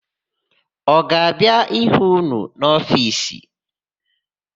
Ọ ga-abịa ịhụ ụnụ n'ofiisi?